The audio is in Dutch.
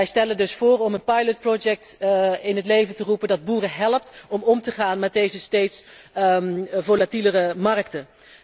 Wij stellen dus voor om een proefproject in het leven te roepen dat boeren helpt om om te gaan met deze steeds volatielere markten.